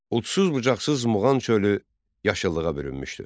Udsuz bucaqsız Muğan çölü yaşıllığa bürünmüşdü.